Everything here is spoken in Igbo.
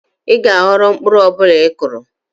Ị ga-aghọrọ mkpụrụ ọ bụla ị kụrụ.